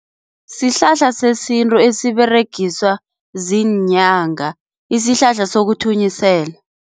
Sihlahla sesintu esiberegiswa ziinyanga, isihlahla sokuthunyisela.